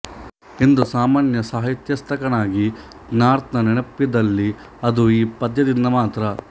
ಇಂದು ಸಾಮಾನ್ಯ ಸಾಹಿತ್ಯಾಸಕ್ತನಿಗೆ ಗಾರ್ತ್ನ ನೆನಪಿದ್ದಲ್ಲಿ ಅದು ಈ ಪದ್ಯದಿಂದ ಮಾತ್ರ